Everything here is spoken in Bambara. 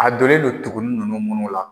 A donlen non tuguni nunnu la